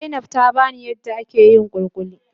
Zainab tabani yadda ake yin kulikuli.